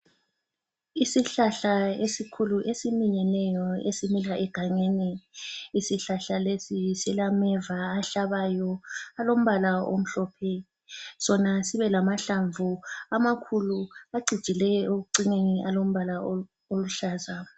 Isihlahla esikhulu esiminyeneyo esimila egangeni isihlahla lesi silameva ahlabayo alombala amhlophe sona sibe lamahlamvu amakhulu acijileyo ekucineni alombala oluhlaza.